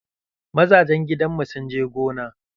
Mazajen gidanmu sun je gona.